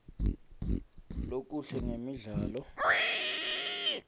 lokuhle ngemidlalo